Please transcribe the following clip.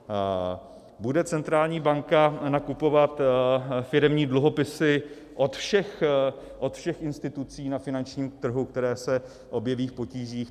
Bude centrální banka nakupovat firemní dluhopisy od všech institucí na finančním trhu, které se objeví v potížích?